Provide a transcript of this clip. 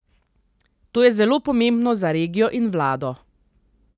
To je zelo pomembno za regijo in vlado.